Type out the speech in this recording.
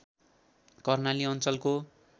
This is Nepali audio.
कर्णाली अञ्चलको